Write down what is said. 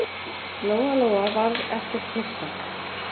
Lóa-Lóa varð ekkert hissa.